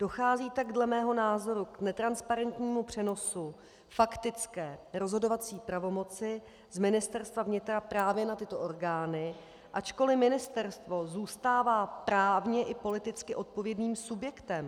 Dochází tak dle mého názoru k netransparentnímu přenosu faktické rozhodovací pravomoci z Ministerstva vnitra právě na tyto orgány, ačkoli ministerstvo zůstává právně i politicky odpovědným subjektem.